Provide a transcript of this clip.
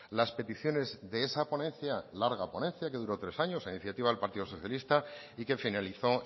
las peticiones de esa ponencia larga ponencia que duró tres años a iniciativa del partido socialista y que finalizó